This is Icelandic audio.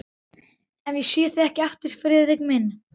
Ef ég sé þig ekki aftur, Friðrik minn.